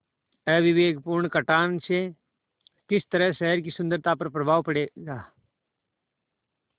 अविवेकपूर्ण कटान से किस तरह शहर की सुन्दरता पर प्रभाव पड़ेगा